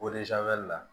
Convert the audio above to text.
la